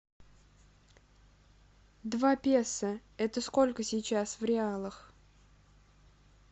два песо это сколько сейчас в реалах